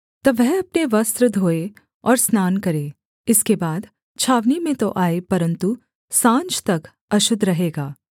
तब वह अपने वस्त्र धोए और स्नान करे इसके बाद छावनी में तो आए परन्तु साँझ तक अशुद्ध रहेगा